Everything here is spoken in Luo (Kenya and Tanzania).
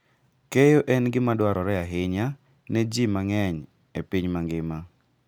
Keyo en gima dwarore ahinya ne ji mang'eny e piny mangima.